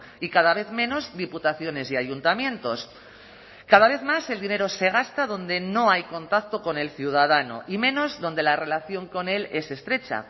y cada vez menos diputaciones y ayuntamientos cada vez más el dinero se gasta donde no hay contacto con el ciudadano y menos donde la relación con él es estrecha